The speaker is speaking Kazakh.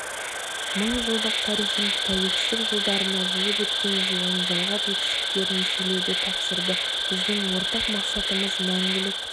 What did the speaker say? мыңжылдық тарихын тәуелсіздік жылдарында жүріп өткен жолын жалғап жетістіктерін еселеуді тапсырды біздің ортақ мақсатымыз мәңгілік